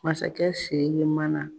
Masakɛ Siriki man na.